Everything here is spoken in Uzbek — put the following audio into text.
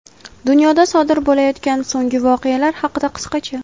Dunyoda sodir bo‘layotgan so‘nggi voqealar haqida qisqacha:.